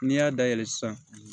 N'i y'a dayɛlɛ sisan